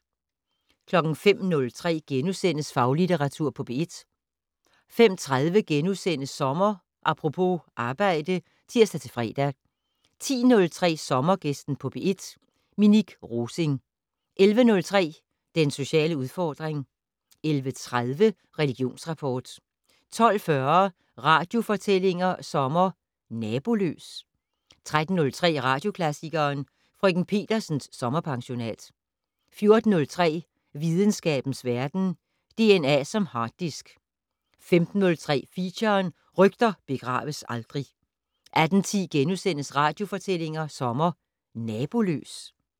05:03: Faglitteratur på P1 * 05:30: Sommer Apropos - arbejde *(tir-fre) 10:03: Sommergæsten på P1: Minik Rosing 11:03: Den sociale udfordring 11:30: Religionsrapport 12:40: Radiofortællinger sommer: Naboløs? 13:03: Radioklassikeren: Frk. Petersens sommerpensionat 14:03: Videnskabens Verden: DNA som harddisk 15:03: Feature: Rygter begraves aldrig 18:10: Radiofortællinger sommer: Naboløs? *